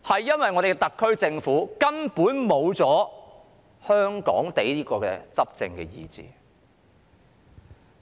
因為我們的特區政府根本失去了"香港地"的執政意志。